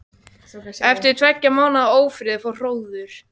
Eftir tveggja mánaða ófrið fór hróður